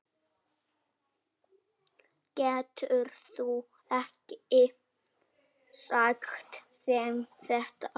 Geturðu ekki sagt þeim þetta.